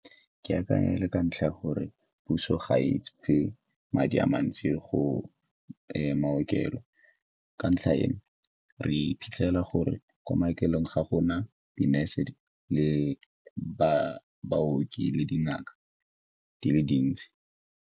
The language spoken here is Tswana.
Ke akanya e le ka ntlha ya gore puso ga e fe madi a mantsi go maokelo ka ntlha eno re iphitlhela gore ko maokelong ga gona di-nurse le baoki le dingaka di le dintsi.